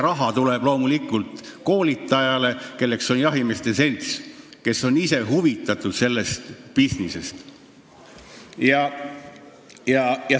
Raha tuleb loomulikult koolitajale, kelleks on jahimeeste selts, kes on ise sellest bisnisest huvitatud.